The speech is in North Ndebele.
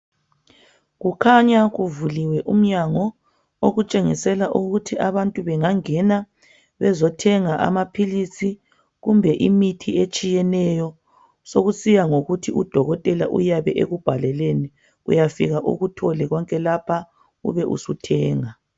Kukhanya kuvuliwe umnyango okutshengisela ukuthi abantu bengangena bezothenga amaphilisi kumbe imithi etshiyeneyo. Sokusiya ngokuthi udokotela uyabe ekubhaleleni uyafika ukuthole konke lapha ubesuthenga